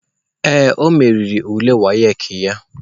Ee, o meriri ule WAEC ya.